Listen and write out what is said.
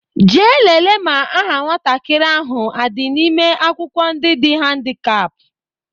Jee lele ma aha nwatakịrị ahụ adị n'ime akwụkwọ ndị dị handikap!